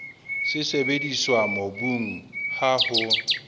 se sebediswa mobung ha ho